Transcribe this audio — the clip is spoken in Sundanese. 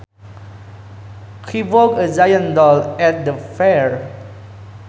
He bought a giant doll at the fair